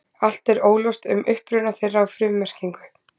Allt er óljóst um uppruna þeirra og frummerkingu.